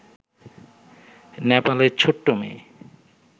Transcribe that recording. নেপালের ছোট্ট মেয়ে